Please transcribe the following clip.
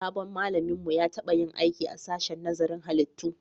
Sabon malamin mu ya taba yin aiki a sashen nazarin halittu